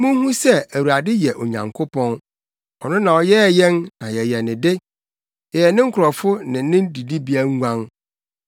Munhu sɛ Awurade yɛ Onyankopɔn; ɔno na ɔyɛɛ yɛn, na yɛyɛ ne de; yɛyɛ ne nkurɔfo ne ne didibea nguan.